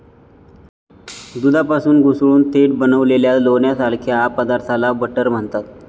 दुधापासून घुसळून थेट बनविलेल्या लोण्यासारख्या पदार्थाला बटर म्हणतात.